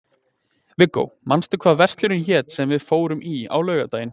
Viggó, manstu hvað verslunin hét sem við fórum í á laugardaginn?